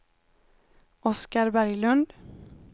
Oskar Berglund